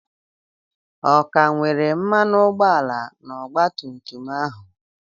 Ọ ka nwere mmanụ ụgbọala na ọgba tum tum ahụ?